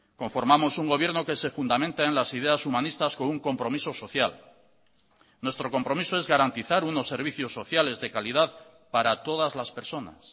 conformamos un gobierno que se fundamenta en las ideas humanistas con un compromiso social nuestro compromiso es garantizar unos servicios sociales de calidad para todas las personas